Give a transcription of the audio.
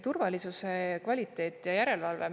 Turvalisuse kvaliteet ja järelevalve.